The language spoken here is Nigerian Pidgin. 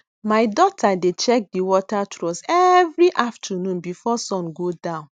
my daughter dey check di water troughs every afternoon before sun go down